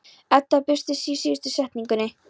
Edda byrstir sig í síðustu setningunni.